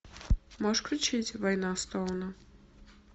можешь включить война стоуна